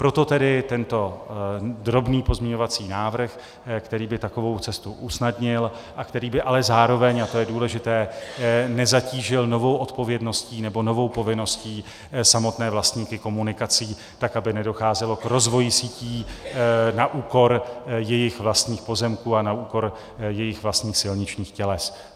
Proto tedy tento drobný pozměňovací návrh, který by takovou cestu usnadnil a který by ale zároveň, a to je důležité, nezatížil novou odpovědností nebo novou povinností samotné vlastníky komunikací tak, aby nedocházelo k rozvoji sítí na úkor jejich vlastních pozemků a na úkor jejich vlastních silničních těles.